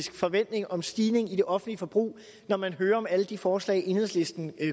forventning om stigningen i det offentlige forbrug når man hører om alle de forslag enhedslisten